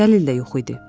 Dəlil də yox idi.